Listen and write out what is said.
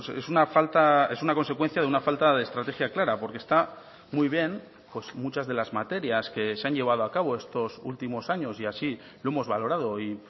es una falta es una consecuencia de una falta de estrategia clara porque está muy bien muchas de las materias que se han llevado a cabo estos últimos años y así lo hemos valorado y